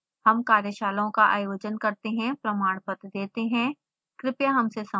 हम कार्यशालाओं का आयोजन करते हैं प्रमाणपत्र देते हैं कृपया हमसे संपर्क करें